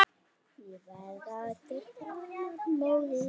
Ég verð aldrei framar móðir.